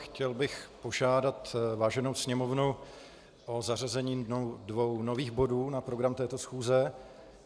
Chtěl bych požádat váženou Sněmovnu o zařazení dvou nových bodů na program této schůze.